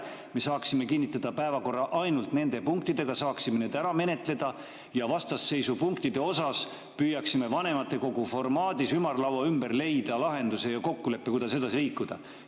Me saaksime kinnitada päevakorra ainult nende punktidega, saaksime need ära menetleda ja vastasseisu tekitanud punktide juures püüaksime vanematekogu formaadis ümarlaua ümber leida lahenduse ja kokkuleppe, kuidas edasi liikuda.